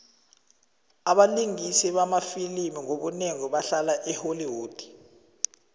abalingisi bamafilimu ngobunengi bahlala e holly wood